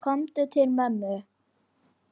Komdu til mömmu.